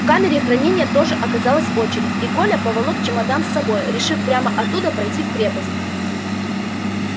в камере хранения тоже оказалась очередь и коля поволок чемодан с собой решив прямо оттуда пройти в крепость